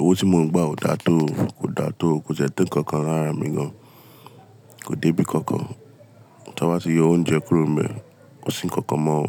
Owó tí mo ń gba ò dáa tó, kò dáa tó, kò ti e to nkankan lárá mi gan, kò dé bí kankan. Tí a bá ṣe yọ oúnjẹ kúrò níbẹ̀, ko sì ń kankan mọ́ ò.